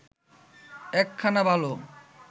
একখানা ভালো